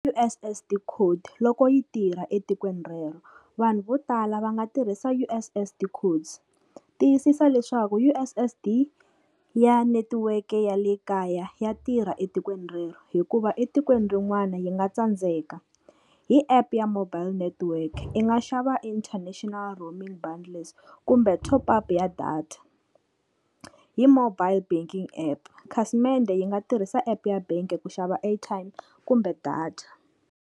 U_S_S_D code loko yi tirha etikweni rero, vanhu vo tala va nga tirhisa U_S_S_D code tiyisisa leswaku U_S_S_D ya netiweke ya le kaya ya tirha etikweni rero, hikuva etikweni rin'wana yi nga tsandzeka. Hi app ya mobile network i nga xava International roaming bundles kumbe top-up ya data. Hi mobile banking app khasimende yi nga tirhisa app ya bangi ku xava airtime kumbe data.